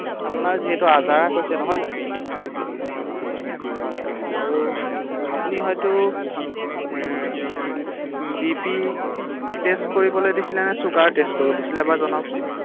আপোনাৰ যিহেতু আজাৰা কৈছে নহয় জানো, হয় হয় ৷ আৰু আপুনি হয়তো বি পি টেষ্ট কৰিবলৈ দিছিলে নে চুগাৰ টেষ্ট কৰিবলৈ দিছিলে এবাৰ জনাওঁকচোন৷